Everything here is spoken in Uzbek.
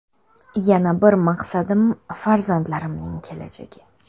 Yana bir maqsadim farzandlarimning kelajagi.